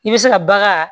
I bɛ se ka bagan